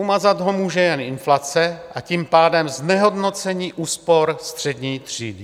Umazat ho může jen inflace, a tím pádem znehodnocení úspor střední třídy.